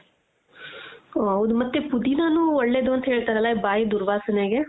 ಓಹ್ ಹೌದು ಮತ್ತೆ ಪುದೀನನು ಒಳ್ಳೇದು ಅಂತ ಹೇಳ್ತಾರಲ್ಲ ಬಾಯಿ ದುರ್ವಾಸನೆಗೆ